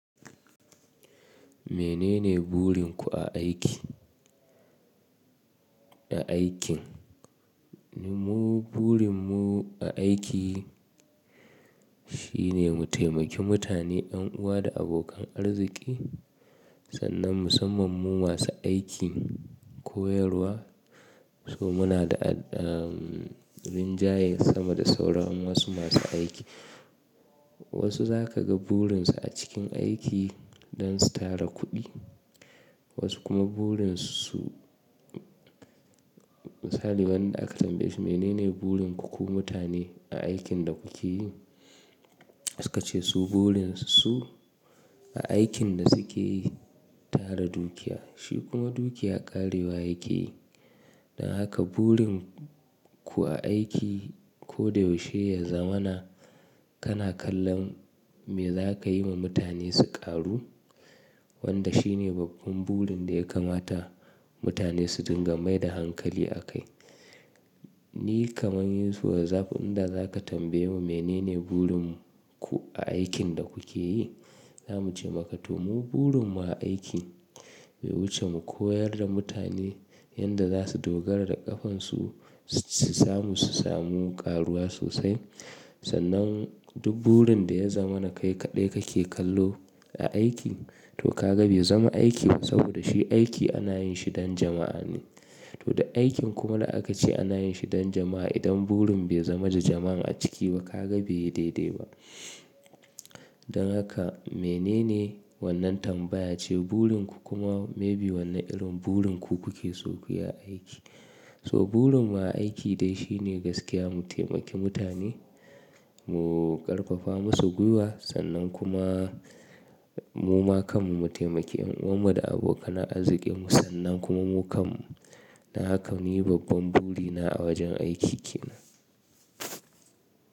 Menene gurin ku a aiki? Na aikin, ni burin mu a aiki shine mu taimaki mutane, ƴan uwa da abokan arziki. Sannan musamman mu masu aikin koyarwa, so muna da, ah, rinjaye sama da sauran wasu masu aiki. Wasu za ka ga burin su a cikin aiki don su tara kuɗi, wasu kuma burin su, misali wanda aka tambaye shi menene burin ku ku mutane a aikin da ku ke yi? Suka ce su burin su a aikin da su ke yi, tara dukiya. Shi kuma dukiya ƙarewa yake. Dan haka burin ku a aiki ko da yaushe ya zamana, kana kallon me za ka yi ma mutane su ƙaru, wanda shi ne babban burin da ya kamata mutane su dinga mai da hankali a kai. Ni kaman yu wazafi, inda za ka tambaye mu menene burin mu ku a aikin da ku ke yi, za mu ce maka to mu burin mu a aiki bai wuce mu koyar da mutane yanda za su dogara da ƙafan su, su samu, su samu ƙaruwa sosai. Sannan duk burin da ya zamana kai kaɗai ka ke kallo a aiki, to ka ga bai zama aiki ba saboda shi aiki ana yin shi don jama'a ne. To duk aikin kuma da aka ce ana yin shi don jama'a, idan burin bai zama da jama'a a ciki ba, ka ga bai daidai ba. Don haka menene wannan tambaya ce burin ku kuma maybe wanne irin burin ku ku ke so ku yi a aiki? So burin mu a aiki dai shi ne gaskiya mu taimaki mutane, mu ƙarfafa masu gwiwa sannan kuma mu ma kanmu mu taimaki ƴan uwan mu da abokanan arziki mu sannan kuma mu kanmu. Dan haka ni babban buri na a wajen aiki kenan.